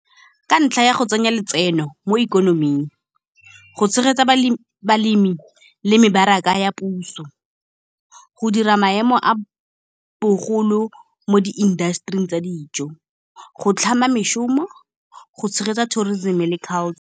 Ka ntlha ya go tsenya letseno mo ikonoming, go tshegetsa balemi le mebaraka ya puso, go dira maemo a bogolo mo di-industry-ing tsa dijo, go tlhama mešomo go tshegetsa tourism le culture.